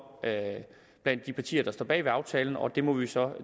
blandt de partier der står bag ved aftalen og det må vi så